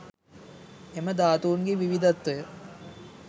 එම ධාතුන්ගේ විවිධත්වය